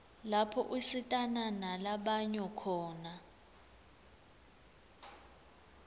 lapho usitana nala banyo khona